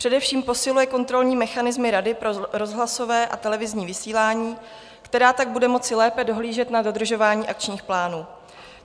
Především posiluje kontrolní mechanismy Rady pro rozhlasové a televizní vysílání, která tak bude moci lépe dohlížet na dodržování akčních plánů.